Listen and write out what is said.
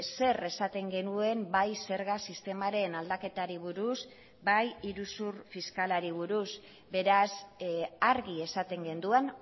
zer esaten genuen bai zerga sistemaren aldaketari buruz eta bai iruzur fiskalari buruz beraz argi esaten genuen